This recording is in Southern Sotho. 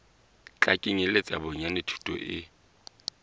tla kenyeletsa bonyane thuto e